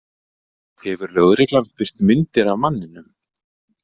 Hefur lögreglan birt myndir af manninum